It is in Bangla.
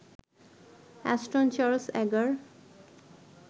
Ashton Charles Agar